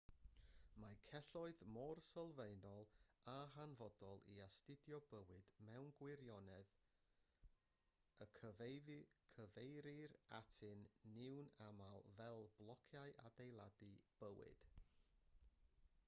mae celloedd mor sylfaenol a hanfodol i astudio bywyd mewn gwirionedd y cyfeirir atyn nhw'n aml fel blociau adeiladu bywyd